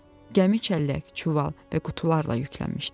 Gəmi çəllək, çuval və qutularla yüklənmişdi.